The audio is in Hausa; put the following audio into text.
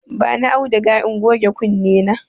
Bani auduga in goge kunne na.